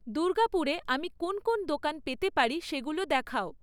দুর্গাপুরে আমি কোন কোন দোকান পেতে পারি সেগুলো দেখাও